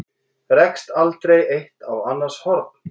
Rekst aldrei eitt á annars horn?